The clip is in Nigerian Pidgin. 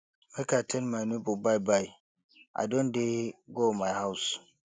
make i tell my nebor byebye i don dey go my house